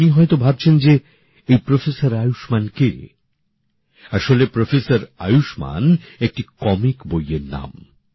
আপনি হয়তো ভাবছেন যে এই অধ্যাপক আয়ুষ্মান কে আসলে অধ্যাপক আয়ুষ্মান একটি কমিক বইএর নাম